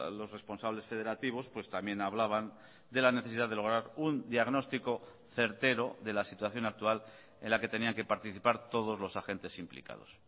los responsables federativos pues también hablaban de la necesidad de lograr un diagnóstico certero de la situación actual en la que tenían que participar todos los agentes implicados